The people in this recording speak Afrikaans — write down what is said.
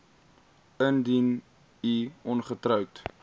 indien u ongetroud